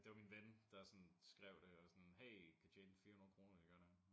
Det var min ven der sådan skrev det og sådan hey kan tjene 400 kroner hvis gør det her